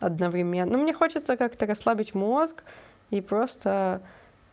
одновременно мне хочется как-то расслабить мозг и просто